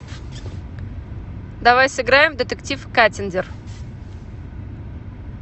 давай сыграем в детектив каттиндер